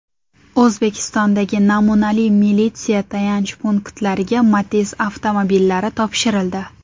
O‘zbekistondagi namunali militsiya tayanch punktlariga Matiz avtomobillari topshirildi.